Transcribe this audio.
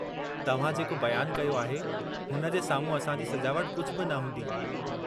तव्हां जेको बयानु कयो आहे, हुन जे साम्हूं असांजी सजावट कुझु बि न हूंदी।